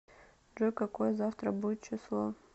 джой какое завтра будет число